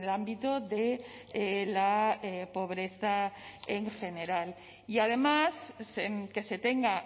ámbito de la pobreza en general y además que se tenga